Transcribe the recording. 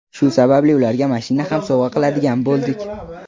Shu sababli ularga mashina ham sovg‘a qiladigan bo‘ldik.